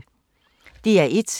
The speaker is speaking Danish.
DR1